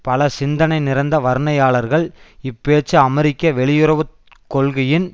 பல சிந்தனை நிறைந்த வர்னையாளர்கள் இப்பேச்சு அமெரிக்க வெளியுறவு கொள்கையின்